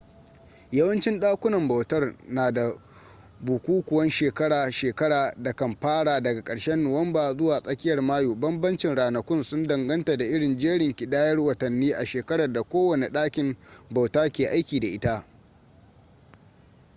yawancin dakunan bautar na da bukukuwan shekara-shekara da kan fara daga ƙarshen nuwamba zuwa tsakiyar mayu bambancin ranakun sun danganta da irin jerin kidayar watanni a shekarar da kowane ɗakin bauta ke aiki da ita